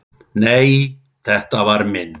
Nei, þetta var minn